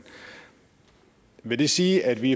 vil det sige at vi